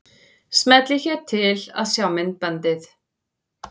Smellið hér til að sjá myndbandið.